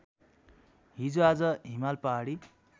हिजोआज हिमाल पहाडी